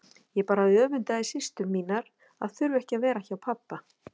Ég bara öfundaði systur mínar að þurfa ekki að vera hjá pabba.